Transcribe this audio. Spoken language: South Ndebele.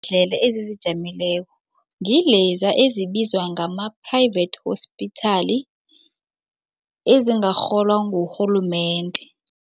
Iimbhedlela ezizijameleko ngileza ezibizwa ngama-private hospital ezingarholwa ngurhulumende.